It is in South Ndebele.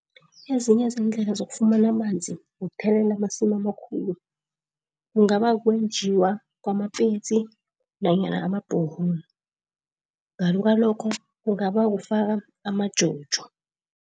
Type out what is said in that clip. Ezinye zeendlela zokufumana amanzi wokuthelelela amasimu amakhulu. Kungaba kukwenjiwa kwamapetsi nanyana ama-borehole ngale kwalokho kungaba kufaka amajojo.